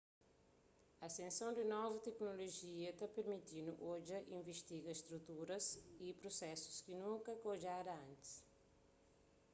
asenson di novu teknolojia ta permiti-nu odja y invistiga struturas y prusesus ki nunka ka odjada antis